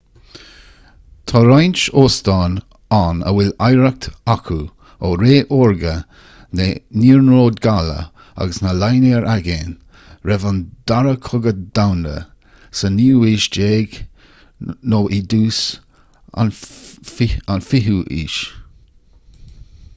tá roinnt óstán ann a bhfuil oidhreacht acu ó ré órga na n-iarnród gaile agus na línéar aigéin roimh an dara cogadh domhanda sa 19ú haois nó i dtús an 20ú haois